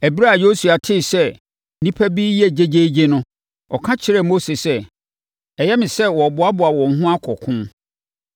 Ɛberɛ a Yosua tee sɛ nnipa bi reyɛ gyegyeegye no, ɔka kyerɛɛ Mose sɛ, “Ɛyɛ me sɛ wɔreboaboa wɔn ho akɔ ɔko!”